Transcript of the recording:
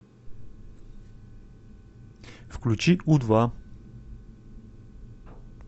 включи у два